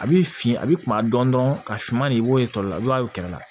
A b'i fin a b'i kunna dɔn dɔrɔn ka suman de w'o la i b'a ye kɛnɛ la